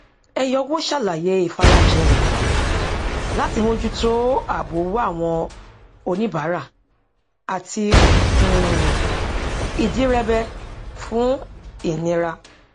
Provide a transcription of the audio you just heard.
eyowo sàlàyé ìfarajìn rẹ láti mójú tó ààbò owó àwọn oníbàárà àti um ìdírẹbẹ fún ìnira